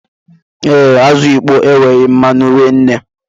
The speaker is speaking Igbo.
Ee, azụ ịkpọ enweghị mmanu rinne